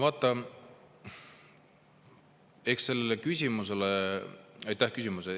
Aitäh küsimuse!